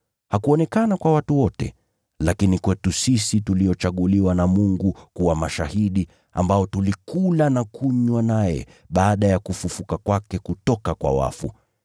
Hakuonekana kwa watu wote, lakini kwetu sisi tuliochaguliwa na Mungu kuwa mashahidi, ambao tulikula na kunywa naye baada ya kufufuka kwake kutoka kwa wafu.